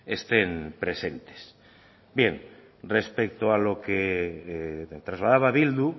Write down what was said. estén presentes bien respecto a lo que trasladaba bildu